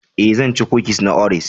E,zan ci kukis na Oreos.